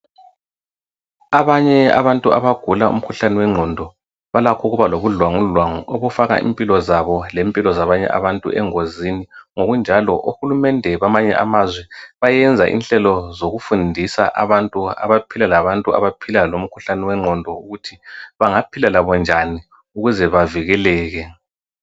Abanye abantu abagula imikhuhlane wenqondo balakho ukuba lobudlwangudlwangu, okufaka impilo zabo lempilo zabanye abantu engozini. Ngokunjalo uhulumende bamanye amazwe bayenza inhlelo zokufundisa abantu abaphila labantu abaphila lomkhuhlane wenqondo ukuthi banangaphila labo njani ukuze bavikeleke.